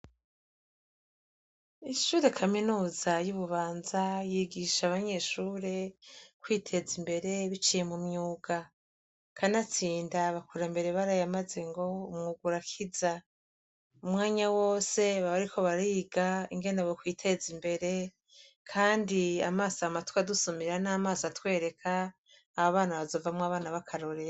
Ishure kaminuza y'ibubanza yigisha abanyeshure kwiteza imbere biciye mumyuga kanatsinda bakura mbere barayamaze ngo umwuga urakiza. Umwanya wose baba bariko bariga ingene bokwiteza imbere. Kandi amaso, amatwi adusumira n'amaso atwereka ababana bazovamwo abana bakarorero.